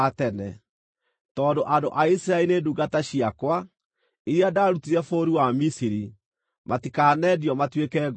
Tondũ andũ a Isiraeli nĩ ndungata ciakwa, iria ndaarutire bũrũri wa Misiri, matikanendio matuĩke ngombo.